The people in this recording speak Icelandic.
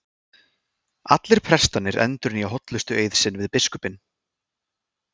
Allir prestarnir endurnýja hollustueið sinn við biskupinn.